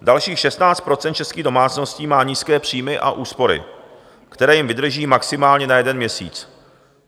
Dalších 16 % českých domácností má nízké příjmy a úspory, které jim vydrží maximálně na jeden měsíc.